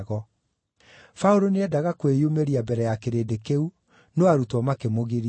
Paũlũ nĩendaga kwĩyumĩria mbere ya kĩrĩndĩ kĩu, no arutwo makĩmũgiria.